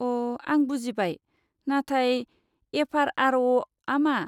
अ, आं बुजिबाय। नाथाय एफ.आर.आर.अ'.आ मा?